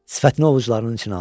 Sifətini ovucularının içinə aldı.